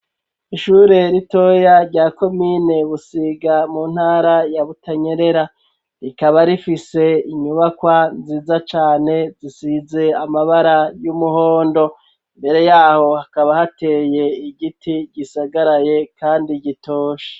Ishure ritoya rya komine Busiga mu ntara ya Butanyerera, rikaba rifise inyubakwa nziza cane zisize amabara y'umuhondo, mbere yaho hakaba hateye igiti gisagaraye kandi gitoshe.